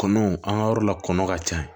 Kɔnɔw an ka yɔrɔ la kɔnɔn ka ca